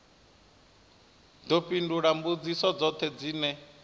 ḓo fhindula mbudziso dzoṱhe dzine